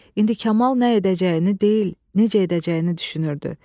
İndi Kamal nə edəcəyini deyil, necə edəcəyini düşünürdü.